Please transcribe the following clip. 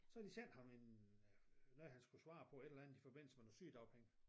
Så havde de sendt ham en øh noget han skulle svare på et eller andet i forbindelse med noget sygedagpenge